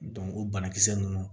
o banakisɛ ninnu